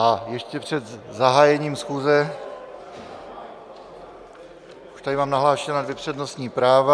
A ještě před zahájením schůze už tady mám nahlášena dvě přednostní práva.